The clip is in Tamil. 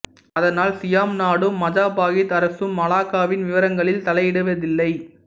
அதனால் சியாம் நாடும் மஜாபாகித் அரசும் மலாக்காவின் விவகாரங்களில் தலையிடவில்லை